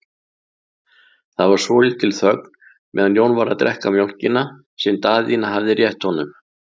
Það var svolítil þögn meðan Jón var að drekka mjólkina sem Daðína hafði rétt honum.